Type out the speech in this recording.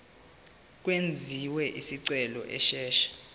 kwenziwe isicelo esisha